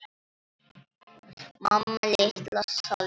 Mamma litla, sagði ég.